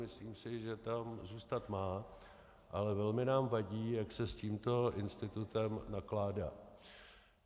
Myslím si, že tam zůstat má, ale velmi nám vadí, jak se s tímto institutem nakládá.